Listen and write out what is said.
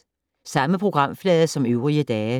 Samme programflade som øvrige dage